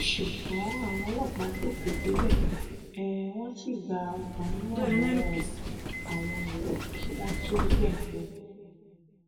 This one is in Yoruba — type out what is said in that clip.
ṣùgbọn àwọn ọlọpàá tètè débẹ um wọn sì gba ọkùnrin náà lọwọ um àwọn èrò kí wọn tóó gbẹmí lẹnu ẹ